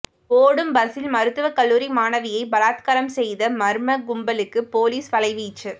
ஓடும் பஸ்ஸில் மருத்துவக் கல்லூரி மாணவியை பலாத்காரம் செய்த மர்ம கும்பலுக்கு பொலிஸ் வலை வீச்சு